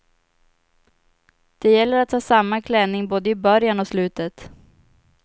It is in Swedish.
Det gäller att ha samma klänning både i början och slutet.